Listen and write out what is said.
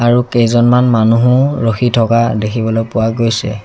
আৰু কেইজনমান মানুহো ৰখি থকা দেখিবলৈ পোৱা গৈছে।